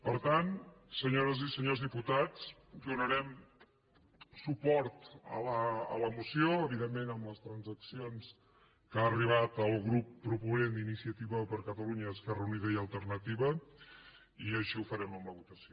per tant senyores i senyors diputats donarem suport a la moció evidentment amb les transaccions a què ha arribat el grup proponent d’iniciativa per catalunya esquerra unida i alternativa i així ho farem en la votació